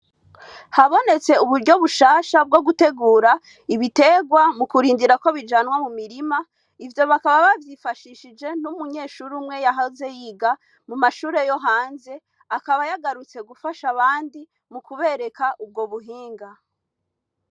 Habonetse uburyo bushasha bwogutegura ibiterwa ,mukurindira ko bijanwa mumirima, ivyo bakaba bavyifashishije, n'umunyeshure umwe yahoze yiga mumashure yo hanze, akaba yagarutse mugufasha abandi mukubereka ubwo buhinga.